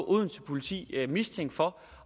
odense politi mistænkt for